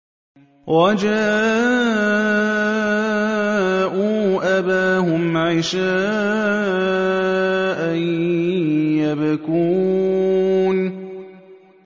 وَجَاءُوا أَبَاهُمْ عِشَاءً يَبْكُونَ